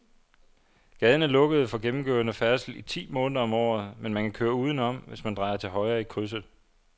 Gaden er lukket for gennemgående færdsel ti måneder om året, men man kan køre udenom, hvis man drejer til højre i krydset.